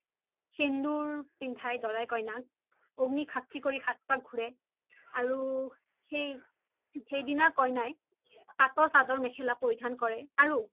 সিন্দুৰ পিন্ধাই দোৰাই কোইনাক আগ্নিক সাশ্কি কৰি সাত পাক ঘুৰে আৰু সেইদিনা কোইনাই পাতৰ সাদৰ মেখেলা পোৰিধান কৰে আৰু